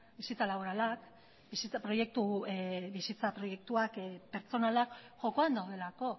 bizitza laborala bizitza proiektuak eta pertsonalak jokoan daudelako